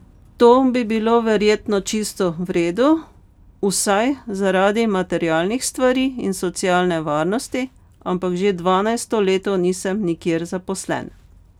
To bi bilo verjetno čisto v redu, vsaj zaradi materialnih stvari in socialne varnosti, ampak že dvanajsto leto nisem nikjer zaposlen.